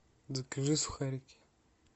закажи сухарики